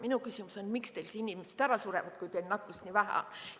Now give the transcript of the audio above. Minu küsimus on, et miks teil inimesed ära surevad, kui teil nakkust nii vähe on.